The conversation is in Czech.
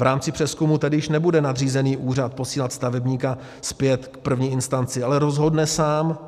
V rámci přezkumu tedy již nebude nadřízený úřad posílat stavebníka zpět k první instanci, ale rozhodne sám